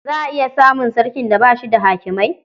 Za a iya samun sarkin da ba shi da hakimai.